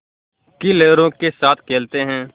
की लहरों के साथ खेलते हैं